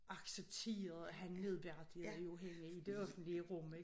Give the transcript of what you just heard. Accepterede at han nedværdigede jo hende i det offentlige rum ik